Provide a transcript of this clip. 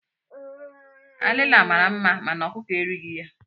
Alila mara mma mana ọkụkọ erighi ya.